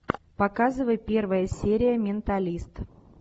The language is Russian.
показывай первая серия менталист